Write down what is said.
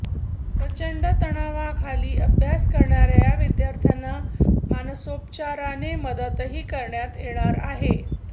प्रचंड तणावाखाली अभ्यास करणाऱ्या या विद्यार्थ्यांना मानरोपचाराने मदतही करण्यात येणार आहेत